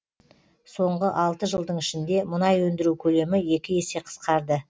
соңғы алты жылдың ішінде мұнай өндіру көлемі екі есе қысқарды